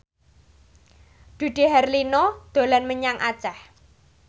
Dude Herlino dolan menyang Aceh